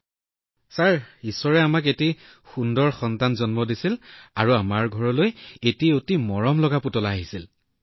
মহোদয় ঈশ্বৰে আমাক এটা অতি ধুনীয়া শিশু দিছিল আমাৰ ঘৰলৈ এটা অতি মৰমলগা পুতলা আহিছিল